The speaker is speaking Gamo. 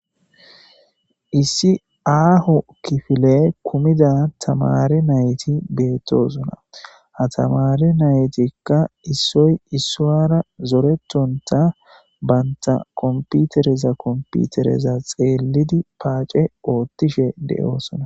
Issi aaho kifile kummida tamari nayti beettosona ha tamaare naytikka issoy issuwara zoretontta bantta kompitereza kompitereza xeeliddi paace oottishe de7oosona